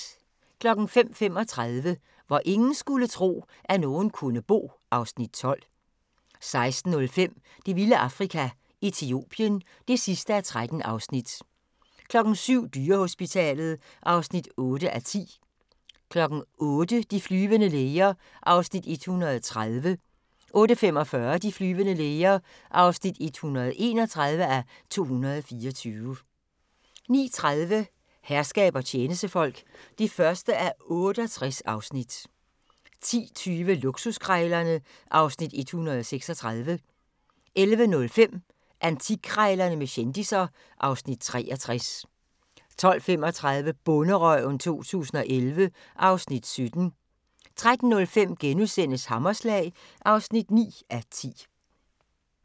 05:35: Hvor ingen skulle tro, at nogen kunne bo (Afs. 12) 06:05: Det vilde Afrika - Etiopien (13:13) 07:00: Dyrehospitalet (8:10) 08:00: De flyvende læger (130:224) 08:45: De flyvende læger (131:224) 09:30: Herskab og tjenestefolk (1:68) 10:20: Luksuskrejlerne (Afs. 136) 11:05: Antikkrejlerne med kendisser (Afs. 63) 12:35: Bonderøven 2011 (Afs. 17) 13:05: Hammerslag (9:10)*